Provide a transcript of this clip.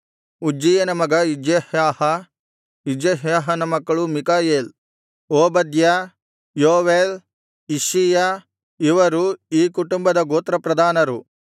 ಉಜ್ಜೀಯನ ಮಗ ಇಜ್ಯಹ್ಯಾಹ ಇಜ್ಯಹ್ಯಾಹನ ಮಕ್ಕಳು ಮಿಕಾಯೇಲ್ ಓಬದ್ಯ ಯೋವೇಲ್ ಇಷ್ಷೀಯ ಇವರು ಈ ಕುಟುಂಬದ ಗೋತ್ರಪ್ರಧಾನರು